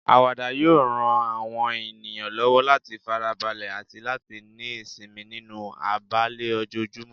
Àwàdà yóò ran àwọn ènìyàn lọ́wọ́ láti fara balẹ̀ àti láti ní ìsinmi nínú àìbalẹ̀ ojoojúmọ́.